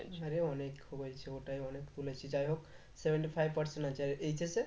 আরে অনেক হয়েছে ওটাই অনেক তুলেছিস যাই হোক seventy-five percentage আছে আর HS এ?